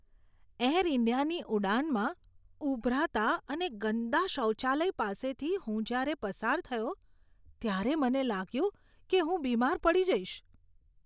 Air ઈન્ડિયાની ઉડાનમાં ઊભરાતા અને ગંદા શૌચાલય પાસેથી હું જ્યારે પસાર થયો ત્યારે મને લાગ્યું કે હું બીમાર પડી જઈશ.